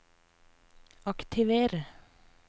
aktiver